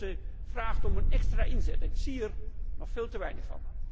Vijf fondsen vragen om een extra inzet en ik zie er nog veel te weinig van.